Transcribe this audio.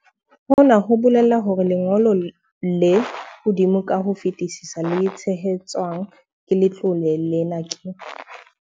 Hona ho bolela hore lengo lo le hodimo ka ho fetisisa le tshehetswang ke letlole lena ke.